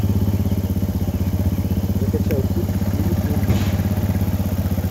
закачай фильм в стиле туризма